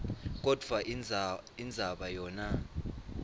kodvwa indzaba yona